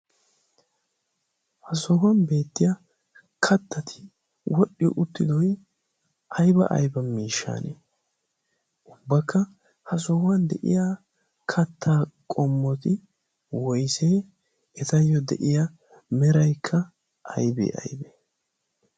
ha sohuwan beettiya kattati wodhdhi uttidoy ayba ayba miishshane ubbakka ha sohuwan de'iya kattaa qommoti woisee etayyo de'iya meraikka aybee aybee?